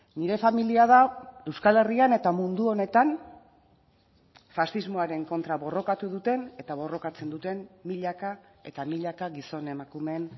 nire familia da euskal herrian eta mundu honetan faxismoaren kontra borrokatu duten eta borrokatzen duten milaka eta milaka gizon emakumeen